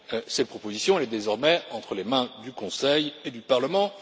Cette proposition est désormais entre les mains du Conseil et du Parlement.